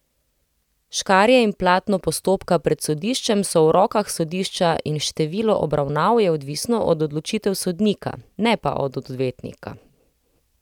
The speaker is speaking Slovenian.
Škarje in platno postopka pred sodiščem so v rokah sodišča in število obravnav je odvisno od odločitev sodnika, ne pa od odvetnika.